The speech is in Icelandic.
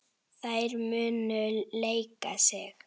Þær munu leika sig.